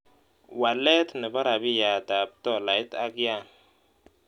Walet ne po rabiyatap tolait ak yan